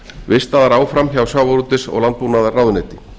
vistaðar áfram hjá sjávarútvegs og landbúnaðarráðuneyti